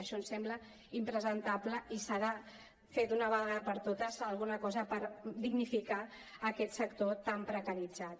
això em sembla impresentable i s’ha de fer d’una vegada per totes alguna cosa per dignificar aquest sector tan precaritzat